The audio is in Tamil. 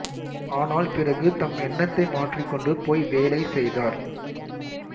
ஆனால் பிறகு தம் எண்ணத்தை மாற்றிக்கொண்டு போய் வேலை செய்தார்